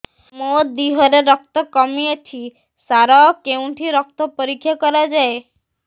ମୋ ଦିହରେ ରକ୍ତ କମି ଅଛି ସାର କେଉଁଠି ରକ୍ତ ପରୀକ୍ଷା କରାଯାଏ